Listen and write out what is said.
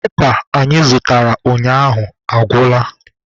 Pepa anyị zụtara ụnyaahụ agwụla.